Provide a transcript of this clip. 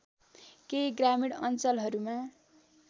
केही ग्रामीण अञ्चलहरूमा